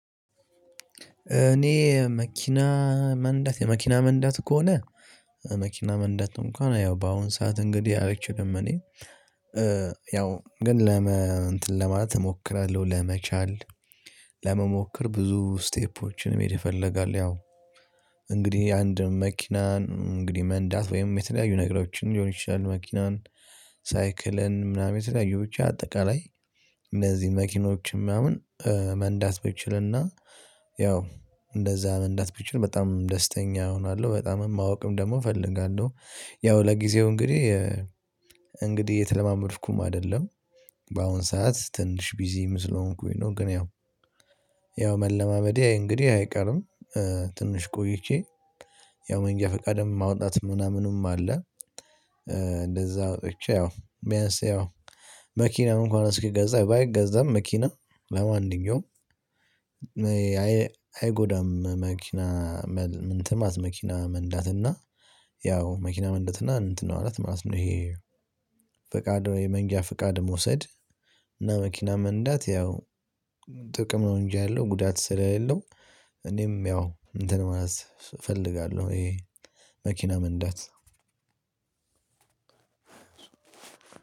እኔ መኪና መንደዳት የመኪና መንዳት ከሆነ መኪና መንዳት እንኳን ያው በአሁን ሰዓት እንግዲህ አለችው ደግሞ እኔ ያው ግን እንትን ለማለት እሞክራለሁ ለመቻል። ለመሞከር ብዙ ስቴፖችንም ይፈልጋል ያው። እንግዲህ አንድም መኪናን እንግዲህ መንዳት ወይም የተለያዩ ነገሮችን ሊሆን ይችላል። መኪናን ሳይክልን ምናምን የተለያየ ብቻ አጠቃላይ እነዚህ መኪኖች ምናምን መንዳት ብችልና ያው እንደዛ መንዳት ብትል በጣም ደስተኛ እሆናለሁ በጣም ማወቅም ደግሞ እፈልጋለሁ። ያው ለጊዜው እንግዲህ እንግዲህ እየተለማመድኩም አይደለም በአሁን ሰዓት ትንሽ ቢዚ ስለሆንኩኝ ነው። ግን ያው መለማመዴ እንግዲህ አይቀርም። ትንሽ ቆይቼ ያው መንገድ ፈቃድም ማውጣትም ምናምኑም አለ። እንደዛ አውጥቼ ያው ቢያንስ ያው መኪናውን እንኳን እስኪገዛ ባይገዛም መኪና ለማንኛውም አይጎዳም። መኪና መኪና መንዳትና ያው መኪና መንዳትና እንትን ማለት ማለት ነው። ይሄ ፈቃድ የመንጂያ ፈቃድ መውሰድ እና መኪና መንዳት ያው ጥቅም ነው። እንጂ ያለው ጉዳት ስለሌለው እኔም ያው እንትን ማለት እፈልጋለሁ። ይሄ መኪና መንዳት